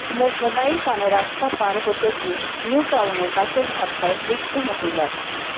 mobile কানে রাস্তা পার হতে গিয়ে নিউ টাউনে বাসের ধাক্কায় মৃত্যু মহিলার